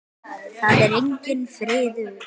Það er enginn friður!